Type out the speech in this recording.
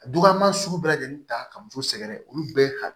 Dukanma sugu bɛɛ lajɛlen ta ka muso sɛgɛrɛ olu bɛɛ